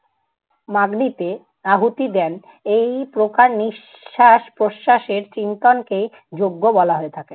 মাগিতে আহুতি দেন এই প্রকার নিঃশ্বাস প্রশ্বাসের চিন্তনকেই যজ্ঞ বলা হয়ে থাকে।